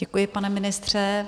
Děkuji, pane ministře.